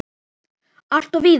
Alltof víða!